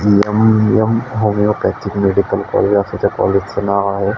Mm homeopathic medical college अस त्या काॅलेजच नाव आहे.